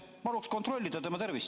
Palun kontrollida tema tervist.